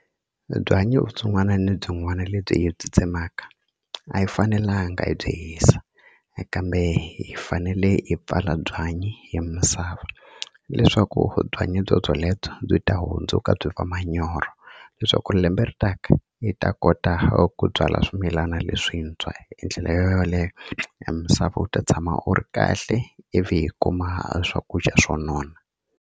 Byanyi vutsongwana lebyin'wana lebyi hi byi tsemaka a hi fanelanga hi byi hisa kambe hi fanele hi pfala byanyi hi misava leswaku byanyi byobyalebyo byi ta huma hundzuka byi va manyoro leswaku lembe ri taka yi ta kota ku byala swimilana leswintshwa hi ndlela yo yoleyo a misava u ta tshama u ri kahle ivi hi kuma swakudya swo nona.